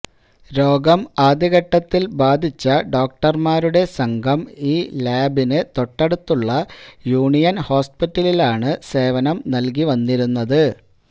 രോഗം ആദ്യഘട്ടത്തില് ബാധിച്ച ഡോക്ടര്മാരുടെ സംഘം ഈ ലാബിന് തൊട്ടടുത്തുള്ള യൂണിയന് ഹോസ്പിറ്റലിലാണ് സേവനം നല്കിവന്നിരുന്നത്